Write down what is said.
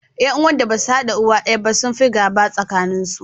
Ƴan uwan da ba su haɗa uwa daya ba sun fi gaba a tsakaninsu.